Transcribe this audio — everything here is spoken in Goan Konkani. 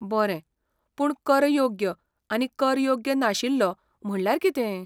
बरें, पूण 'कर योग्य' आनी 'कर योग्य नाशिल्लो' म्हणल्यार कितें?